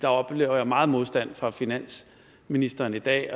oplever meget modstand fra finansministeren i dag